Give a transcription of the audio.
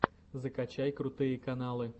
закачай крутые каналы